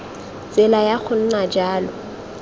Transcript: tsela ya go nna jalo